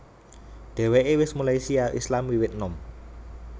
Dheweke wis mulai syiar Islam wiwit enom